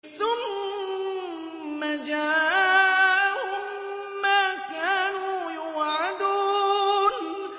ثُمَّ جَاءَهُم مَّا كَانُوا يُوعَدُونَ